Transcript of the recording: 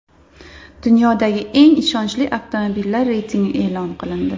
Dunyodagi eng ishonchli avtomobillar reytingi e’lon qilindi.